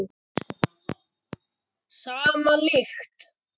Sama lykt.